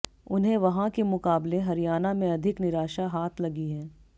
उन्हें वहां के मुकाबले हरियाणा में अधिक निराशा हाथ लगी है